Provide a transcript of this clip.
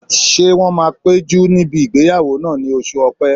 Ṣé wọ́n máa péjú níbi ìgbéyàwó náà ní oṣù ọ̀pẹ́?